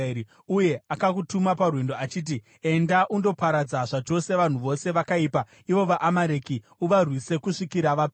Uye akakutuma parwendo, achiti, ‘Enda undoparadza zvachose vanhu vose vakaipa, ivo vaAmareki; uvarwise kusvikira vapera.’